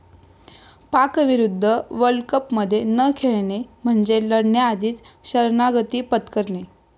पाकविरुद्ध वर्ल्डकपमध्ये न खेळणे म्हणजे लढण्याआधीच शरणागती पत्करणे'